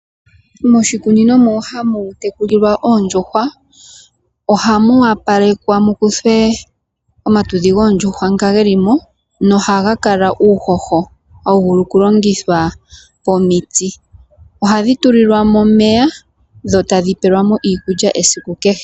Moshikunino mo hamu tekulilwa oondjuhwa, oha mu wa palekwa mukuthwe omatudhi goondjuhwa nga ge li mo nohaga kala uuhoho ha wu vulu okulongithwa pomiti. Oha dhi tulilwa mo omeya dho tadhi pelwa mo iikulya esiku kehe.